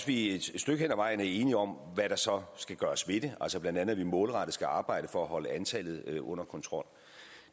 vi et stykke hen ad vejen er enige om hvad der så skal gøres ved det altså blandt andet at vi målrettet skal arbejde for at holde antallet under kontrol